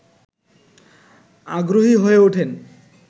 আগ্রহী হয়ে ওঠেন